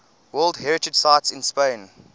world heritage sites in spain